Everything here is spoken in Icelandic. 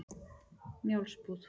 Njálsbúð